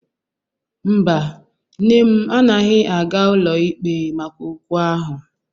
Mba, nne m anaghị aga ụlọikpe maka okwu ahụ.